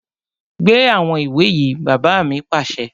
Gbé àwọn ìwé yìí! Bàbá mi pàṣẹ